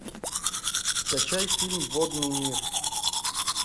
скачай фильм водный мир